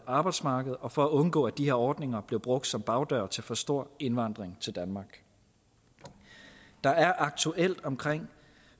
arbejdsmarked og for at undgå at de her ordninger bliver brugt som bagdør til for stor indvandring til danmark der er aktuelt omkring